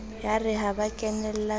yare ha ba kenella ka